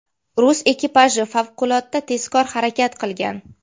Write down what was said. Rus ekipaji favqulodda tezkor harakat qilgan.